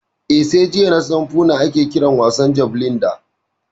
Eh, sai jiya nasan Foona ake kiran wasan jabelin da